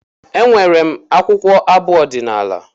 Enwere m akwụkwọ abụ ọdinala